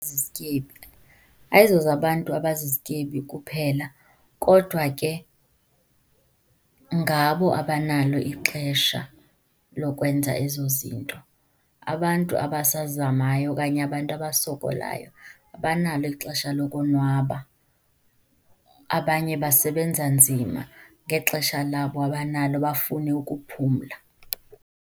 Zizityebi, ayizozabantu abazizityebi kuphela kodwa ke ngabo abanalo ixesha lokwenza ezo zinto. Abantu abasazamayo okanye abantu abasokolayo abanalo ixesha lokonwaba, abanye basebenza nzima ngexesha labo abanalo bafune ukuphumla.